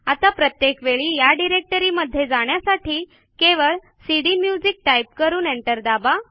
आता प्रत्येक वेळी या डिरेक्टरीमध्ये जाण्यासाठी केवळ सीडीम्युझिक टाईप करून एंटर दाबा